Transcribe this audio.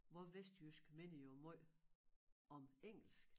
Vor vestjysk minder jo måj om engelsk